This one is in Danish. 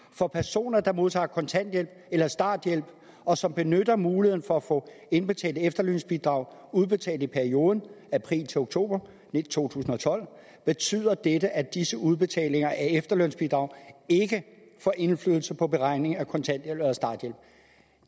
for personer der modtager kontanthjælp eller starthjælp og som benytter muligheden for at få indbetalte efterlønsbidrag udbetalt i perioden april til oktober to tusind og tolv betyder dette at disse udbetalinger af efterlønsbidrag ikke får indflydelse på beregning af kontanthjælp eller starthjælp